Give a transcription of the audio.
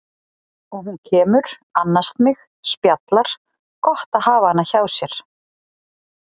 Og hún kemur, annast mig, spjallar, gott að hafa hana hjá sér.